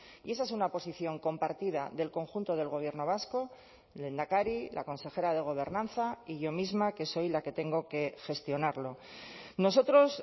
y esa es una posición compartida del conjunto del gobierno vasco lehendakari la consejera de gobernanza y yo misma que soy la que tengo que gestionarlo nosotros